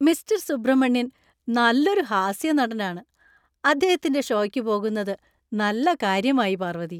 Mister Subramanian നല്ലൊരു ഹാസ്യനടനാണ്. അദ്ദേഹത്തിന്‍റെ ഷോയ്ക്ക് പോകുന്നത് നല്ല കാര്യമായി, പാർവതി.